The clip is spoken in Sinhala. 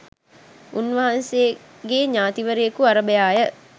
උන්වහන්සේගේ ඥාතිවරයකු අරභයාය.